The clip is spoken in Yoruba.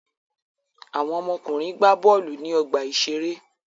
Àwọn ọmọkùnrin gbá bọ́ọ́lù ní ọgbà-ìṣeré.